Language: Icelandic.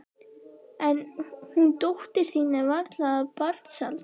En hún dóttir þín er varla af barnsaldri.